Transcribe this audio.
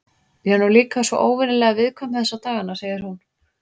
Ég er nú líka svo óvenjulega viðkvæm þessa dagana, segir hún.